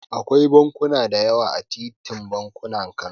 Akwai bankuna da yawa a titin bankuna, Kano.